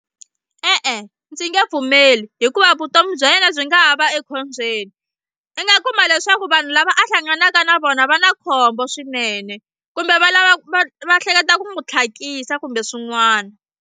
E-e ndzi nge pfumeli hikuva vutomi bya yena byi nga ha va ekhombyeni i nga kuma leswaku vanhu lava a hlanganaka na vona va na khombo swinene kumbe va lava va va hleketa ku n'wi tlhakisa kumbe swin'wana.